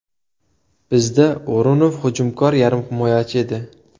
Bizda O‘runov hujumkor yarim himoyachi edi.